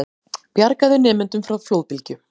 Bjargaði nemendum frá flóðbylgju